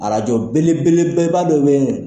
belebeleba dɔ be yen